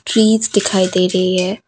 Trees दिखाई दे रही है।